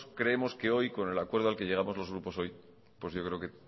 creemos que hoy con el acuerdo al que lleguemos los grupos hoy pues yo creo que